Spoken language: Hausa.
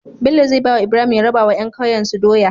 Bello zai bawa Ibrahim ya rabawa yan kaiyen su doya